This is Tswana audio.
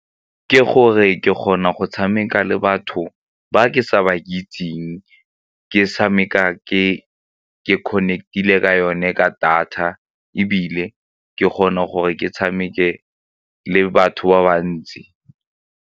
Ke gore ke kgona go tshameka le batho ba ke sa ba itseng ke tshameka ke connect-ile ka yone ka data ebile ke kgone gore ke tshameke le batho ba bantsi.